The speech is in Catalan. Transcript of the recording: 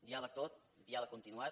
diàleg tot diàleg continuat